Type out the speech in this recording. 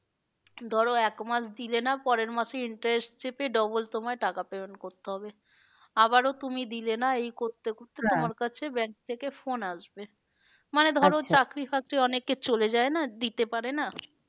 ধরো এক মাস দিলে না পরের মাসে interest চেপে double তোমায় টাকা payment করতে হবে। আবারো তুমি দিলে না এই করতে করতে কাছে bank থাকে phone আসবে। চাকরি ফাকরি অনেকে চলে যায় না দিতে পারে না।